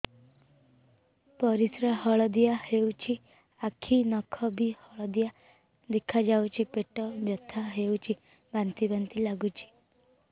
ପରିସ୍ରା ହଳଦିଆ ହେଉଛି ଆଖି ନଖ ବି ହଳଦିଆ ଦେଖାଯାଉଛି ପେଟ ବଥା ହେଉଛି ବାନ୍ତି ବାନ୍ତି ଲାଗୁଛି